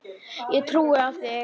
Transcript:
Ég trúi á þig!